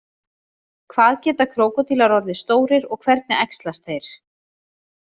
Hvað geta krókódílar orðið stórir og hvernig æxlast þeir?